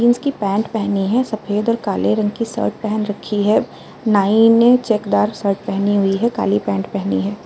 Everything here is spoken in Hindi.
जीन्स की पेंट पेहनी है। सफ़ेद और काले रंग की शर्ट पेहेन रखी है। नाइ ने चेकदार शर्ट पेहेनी हुई है। काली पैंट पेहनी है।